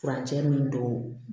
Furancɛ min don